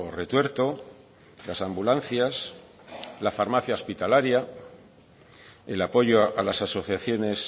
retuerto las ambulancias la farmacia hospitalaria el apoyo a las asociaciones